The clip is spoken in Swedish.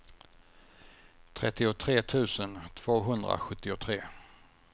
trettiotre tusen tvåhundrasjuttiotre